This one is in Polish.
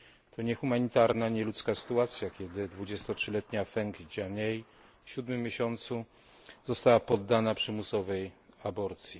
To niehumanitarna, nieludzka sytuacja, kiedy 23 letnia Feng Jianmei w siódmym miesiącu ciąży została poddana przymusowej aborcji.